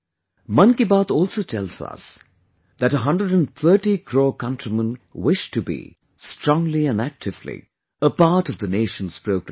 'Mann Ki Baat' also tells us that a 130 crore countrymen wish to be, strongly and actively, a part of the nation's progress